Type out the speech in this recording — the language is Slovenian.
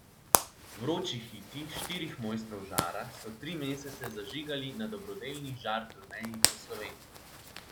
Vroči hiti štirih mojstrov žara so tri mesece zažigali na dobrodelni žar turneji po Sloveniji.